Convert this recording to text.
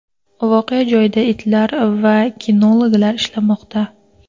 Voqea joyida itlar va kinologlar ishlamoqda.